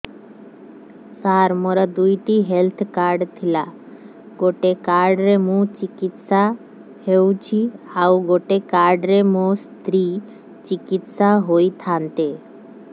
ସାର ମୋର ଦୁଇଟି health card ଥିଲା ଗୋଟେ କାର୍ଡ ରେ ମୁଁ ଚିକିତ୍ସା ହେଉଛି ଆଉ ଗୋଟେ କାର୍ଡ ରେ ମୋ ସ୍ତ୍ରୀ ଚିକିତ୍ସା ହୋଇଥାନ୍ତେ